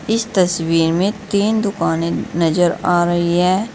इस तस्वीर में तीन दुकानें नजर आ रही है।